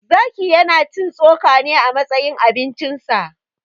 Zaki ya na cin tsoka ne a matsayin abincin sa.